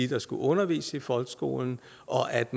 der skulle undervise i folkeskolen og at